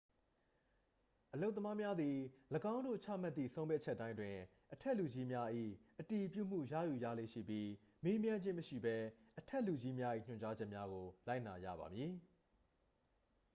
အလုပ်သမားမျာသည် ၎င်းတို့ချမှတ်သည့် ဆုံးဖြတ်ချက်တိုင်းအတွက် အထက်လူကြီးများ၏ အတည်ပြုချက် ရယူရလေ့ရှိပြီး မေးမြန်းခြင်း မရှိဘဲ အထက်လူကြီးများ၏ ညွှန်ကြားချက်များကို လိုက်နာရပါမည်